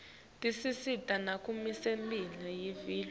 tisisita nakumisebenti yelive